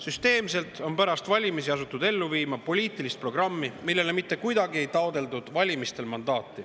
Süsteemselt on pärast valimisi asutud ellu viima poliitilist programmi, millele mitte kuidagi ei taotletud valimistel mandaati.